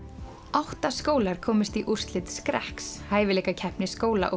átta skólar komust í úrslit skrekks hæfileikakeppni skóla og